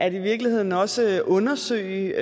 i virkeligheden også at undersøge